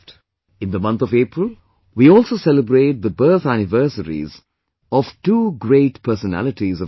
In the month of April, we also celebrate the birth anniversaries of two great personalities of India